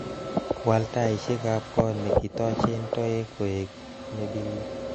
Wal taishekab kot nekitochen toek koe nebirir